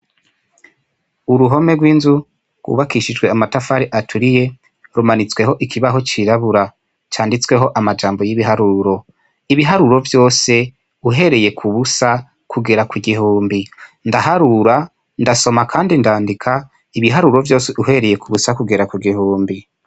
Uruhome rw'inzu rwubakishijwe amatafari aturiye rumanitsweho ikibaho cirabura canditsweho amajambo y'ibiharuro ,ibiharuro vyose uhereye ku busa kugera kugihumbi ndaharura ndasoma kandi ndandika ibiharuro vyose uhereye ku busa kugera ku gihumbi.